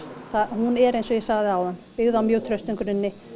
hún er eins og ég sagði áðan byggð á mjög traustum grunni